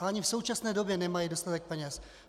A ani v současné době nemají dostatek peněz.